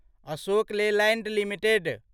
Ashok Leyland limited